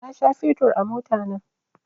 Na sha fetur a motana